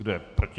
Kdo je proti?